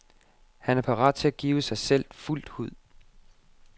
Han er parat til at give sig selv fuldt ud.